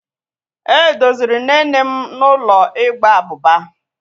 E doziri nne nne m n'ụlọ ịgba abụba.